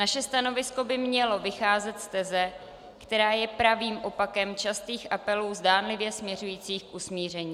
Naše stanovisko by mělo vycházet z teze, která je pravým opakem častých apelů zdánlivě směřujících k usmíření.